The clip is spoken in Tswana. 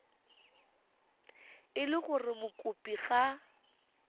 e le gore mokopi ga